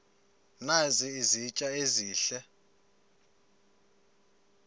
nazi izitya ezihle